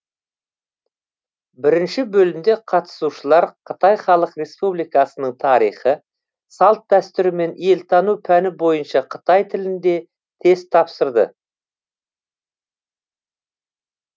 бірінші бөлімде қатысушылар қытай халық республикасының тарихы салт дәстүрі мен елтану пәні бойынша қытай тілінде тест тапсырды